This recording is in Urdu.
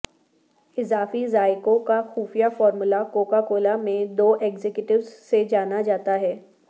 اضافی ذائقہوں کا خفیہ فارمولہ کوکا کولا میں دو ایگزیکٹوز سے جانا جاتا ہے